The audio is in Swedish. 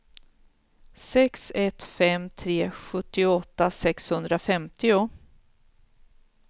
sex ett fem tre sjuttioåtta sexhundrafemtio